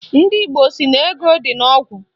Ndị Igbo sị na ego dị n'ogwu